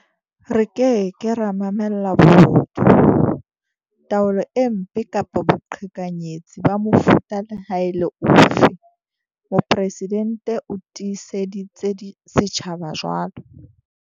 Re ke ke ra mamella bobodu, taolo e mpe kapa boqhekanyetsi ba mofuta le ha e le ofe, Mopresidente o tiiseditse setjhaba jwalo.